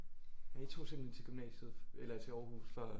Så I tog simpelthen til gymnasiet eller til Aarhus for at